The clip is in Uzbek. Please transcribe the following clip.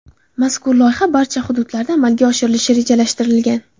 Mazkur loyiha barcha hududlarda amalga oshirilishi rejalashtirilgan.